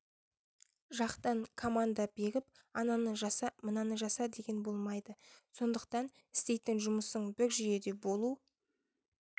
жақтан команда беріп ананы жаса мынаны жаса деген болмайды сондықтан істейтін жұмысың бір жүйеде болу